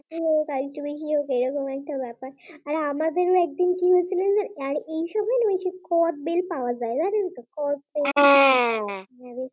আমাদের একদিন কি হয়েছিল জানেন তো কদবেল পাওয়া যায় জানেন তো? কদবেল, হ্যাঁ হ্যাঁ হ্যাঁ